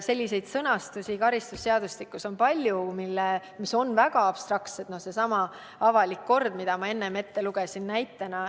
Selliseid sõnastusi on karistusseadustikus palju, mis on väga abstraktsed, kas või seesama "avalik kord", mille ma enne näitena ette lugesin.